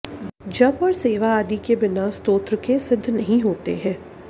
जप और सेवा आदि भी बिना स्तोत्रके सिद्ध नहीं होते हैं